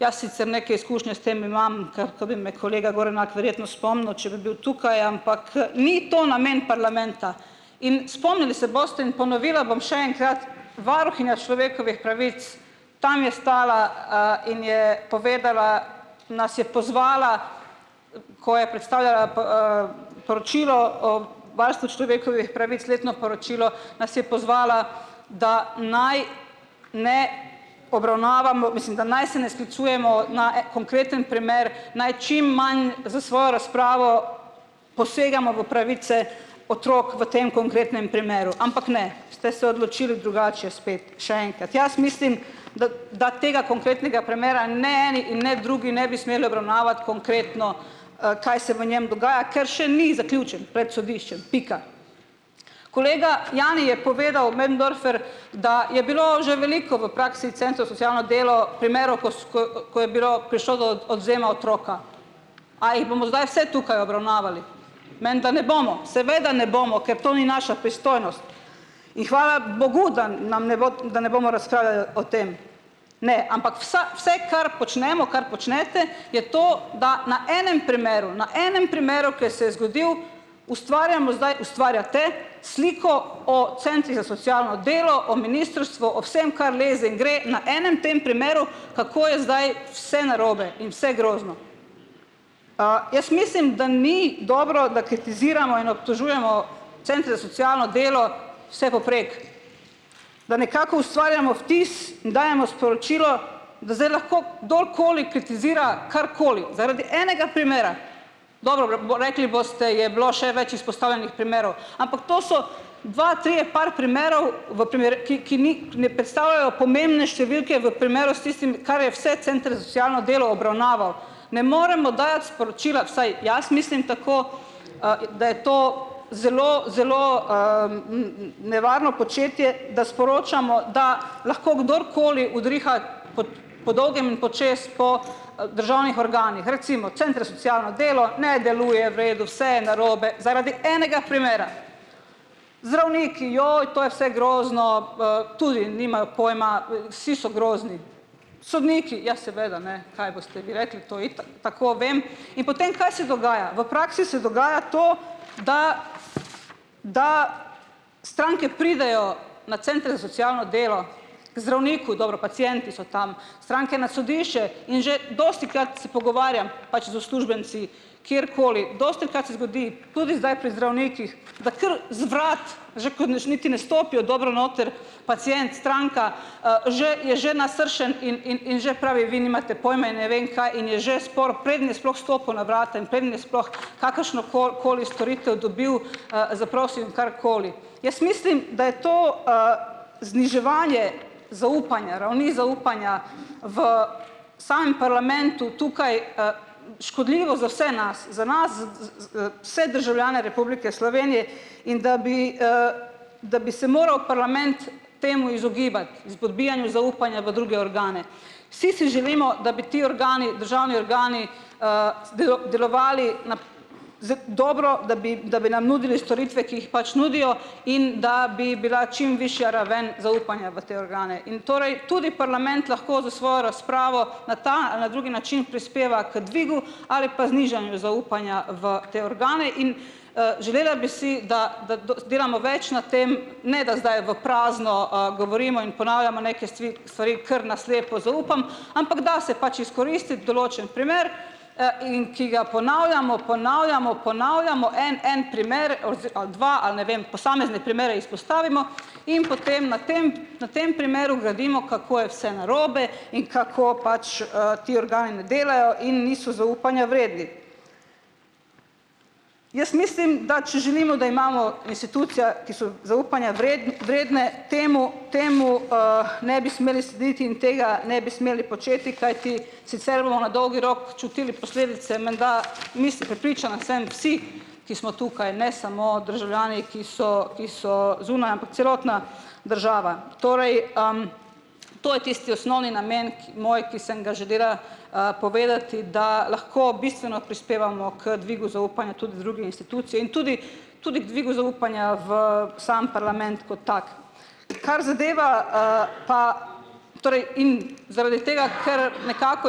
Jaz sicer neko izkušnjo s tem imam. Ker ko bi me kolega Gorenak verjetno spomnil, če bi bil tukaj, ampak, ni to namen parlamenta. In spomnili se boste in ponovila bom še enkrat, varuhinja človekovih pravic, tam je stala, in je povedala, nas je pozvala, ko je predstavljala poročilo o varstvu človekovih pravic, letno poročilo, nas je pozvala, da naj ne obravnavamo, mislim, da naj se ne sklicujemo na konkreten primer, naj čim manj za svojo razpravo posegamo v pravice otrok v tem konkretnem primeru, ampak ne, ste se odločili drugače spet, še enkrat. Jaz mislim, da da tega konkretnega premera ne eni in ne drugi ne bi konkretno, kaj se v njem dogaja, ker še ni zaključen pred sodiščem. Pika. Kolega Jani je povedal, Möderndorfer, da je bilo že veliko v praksi socialno delo primerov, ko ko je bilo prišlo do odvzema otroka. A jih bomo zdaj vse tukaj obravnavali? Menda ne bomo, seveda ne bomo, ker to ni naša pristojnost, in hvala bogu, da nam ne bo, da ne bomo o tem. Ne, ampak vsa vse, kar počnemo, kar počnete, je to, da na enem primeru, na enem primeru, ke se je zgodil, ustvarjamo, zdaj ustvarjate sliko o centrih za socialno delo, o ministrstvu, o vsem, kar leze in gre na enem tem primeru, kako je zdaj vse narobe in vse grozno. jaz mislim, da ni dobro, da kritiziramo in obtožujemo socialno delo vsepovprek, da nekako ustvarjamo vtis in dajemo sporočilo, da zdaj lahko kdorkoli kritizira karkoli zaradi enega primera. rekli boste, je bilo še več izpostavljenih primerov, ampak to so dva, trije, par primerov, v ki ki ne predstavljajo pomembne številke v primeru s tistim, kar je vse center delo obravnaval. Ne moremo dajati sporočila, vsaj jaz mislim tako, da je to zelo zelo, nevarno početje, da sporočamo, da lahko kdorkoli udriha pod po dolgem in počez po, državnih organih. Recimo, socialno delo ne deluje v redu, vse je narobe, zaradi enega primera. Zdravniki, joj, to je vse grozno, tudi nimajo pojma, vsi so grozni. Sodniki, ja seveda, ne, kaj boste vi rekli, to itak, tako vem. In potem, kaj se dogaja? V praksi se dogaja to, da da stranke pridejo na center za socialno delo, ker zdravniku, dobro pacienti so tam, stranke na sodišče in že dostikrat se pogovarjam pač z uslužbenci kjerkoli, se zgodi pudi zdaj pri zdravnikih, da kar za vrati, že niti ne stopijo dobro noter, pacient, stranka, že je že nasršen in in in že pravi: "Vi nimate pojma." In ne vem kaj in je že spor, preden je sploh stopil na vrata in preden je sploh kakršnokoli koli storitev dobil, zaprosil in karkoli. Jaz mislim, da je to, zniževanje zaupanja, ravni zaupanja v sam parlamentu tukaj, škodljivo za vse nas, za nas vse državljane Republike Slovenije in da bi, da bi se moral parlament temu izogibati, izpodbijanju zaupanja v druge organe. Si si želimo, da bi ti organi, državni organi, delovali nap za dobro, da bi, da bi nam nudili storitve, ki jih pač nudijo in da bi bila čim višja raven zaupanja v te organe. In torej tudi parlament lahko za svojo razpravo na ta ali na drugi način prispeva k dvigu ali pa znižanju zaupanja v te organe in, želela bi si, da da delamo več na tem, ne da zdaj v prazno, govorimo in ponavljamo neke stvari kar na slepo zaupamo, ampak da se pač izkoristiti določen primer, in ki ga ponavljamo, ponavljamo, ponavljamo, en en primer ali dva, ali ne vem posamezne primere izpostavimo, in potem na tem, na tem primeru gradimo, kako je vse narobe in kako pač, ti ne delajo in niso zaupanja vredni. Jaz mislim, da če želimo, da imamo institucije, ki so zaupanja vredne, temu temu, ne bi smeli slediti in tega ne bi smeli početi, kajti sicer na dolgi rok čutili posledice menda, mislim, prepričana sem, vsi, ki smo tukaj, ne samo državljani, ki so ki so zunaj, ampak celotna država. Torej, to je tisti osnovni namen ki moj, ki sem ga, povedati, da lahko bistveno prispevamo k dvigu druge institucije in tudi tudi k dvigu zaupanja v sam parlament kot tak. Kar zadeva, pa torej in zaradi tega, ker nekako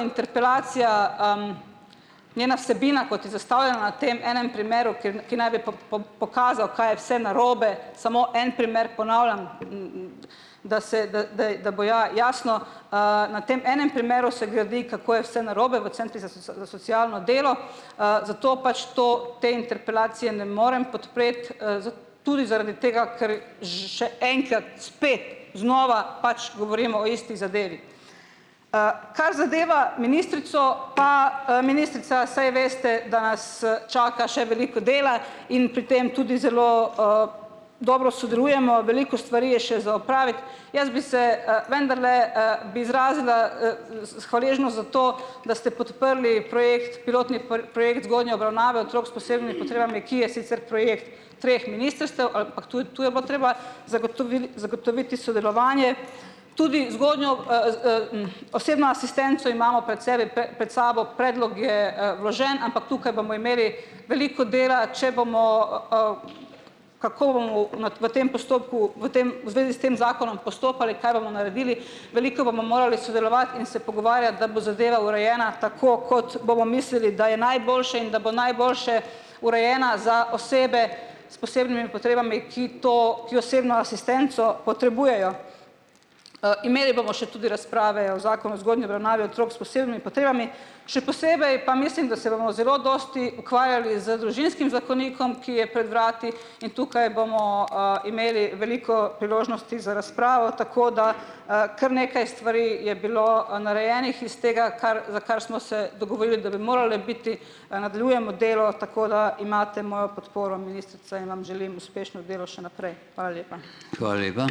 interpelacija, njena vsebina, kot na tem enem primeru, kjern ki naj bi pokazal, kaj je vse narobe, samo en primer ponavljam, da se da zdaj da bo ja jasno, na tem enem primeru se gradi, kako je vse narobe v socialno delo, zato pač to te interpelacije ne morem podpreti, tudi zaradi tega, kar že še enkrat spet znova pač govorimo o isti zadevi. kar zadeva ministrico pa, ministrica saj veste, da nas čaka še veliko dela in pri tem tudi zelo, dobro sodelujemo, veliko stvari je še za opraviti. Jaz bi se, vendarle, bi izrazila, hvaležnost za to, da ste podprli projekt pilotni obravnave otrok s, ki je sicer projekt treh ministrstev, ampak to to je bilo treba zagotovil zagotoviti sodelovanje, tudi zgodnjo osebno asistenco imamo pred sebi pe sabo, predlog je, vložen, ampak tukaj bomo imeli veliko dela, če bomo, kako v tem postopku v tem v zvezi s tem zakonom postopali, kaj bomo naredili, veliko bomo morali sodelovati in se pogovarjati, da bo zadeva urejena tako, kot bomo mislili, da je najboljše in da bo najboljše urejena za osebe potrebami, ki to, ki osebno asistenco potrebujejo. imeli bomo še tudi razprave o zakonu otrok s, še posebej pa mislim, da se bomo zelo dosti ukvarjali z družinskim zakonikom, ki je pred vrati, in tukaj bomo, imeli veliko priložnosti za razpravo, tako da, kar nekaj stvari je bilo, narejenih iz tega, kar za kar smo se dogovorili, da bi morale biti, nadaljujemo delo, tako da imate mojo podporo, ministrica, in vam želim uspešno delo še naprej. Hvala lepa.